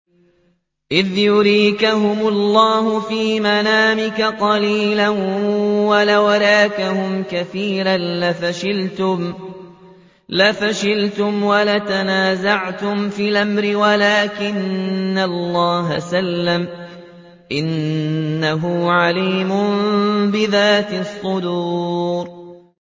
إِذْ يُرِيكَهُمُ اللَّهُ فِي مَنَامِكَ قَلِيلًا ۖ وَلَوْ أَرَاكَهُمْ كَثِيرًا لَّفَشِلْتُمْ وَلَتَنَازَعْتُمْ فِي الْأَمْرِ وَلَٰكِنَّ اللَّهَ سَلَّمَ ۗ إِنَّهُ عَلِيمٌ بِذَاتِ الصُّدُورِ